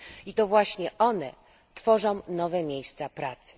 I to właśnie one tworzą nowe miejsca pracy.